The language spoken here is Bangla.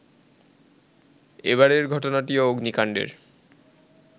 এবারের ঘটনাটিও অগ্নিকাণ্ডের